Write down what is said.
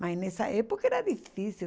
Mas nessa época era difícil.